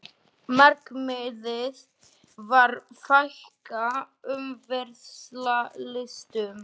Markmiðið að fækka umferðarslysum